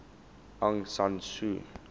aung san suu